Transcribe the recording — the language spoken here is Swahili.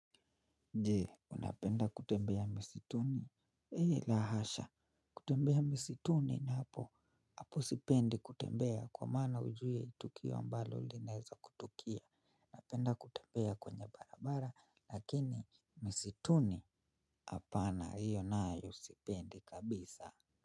Je, unapenda kutembea msituni. Eeh la hasha, kutembea msituni ni hapo. Hapo sipendi kutembea kwa maana hujui tukio ambalo linaweza kutokea napenda kutembea kwenye barabara lakini msituni hapana hiyo nayo sipendi kabisa.